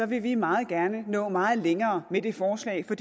vil vi meget gerne nå meget længere med det forslag for